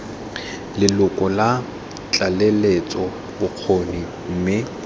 leloko la tlaleletso bokgoni mme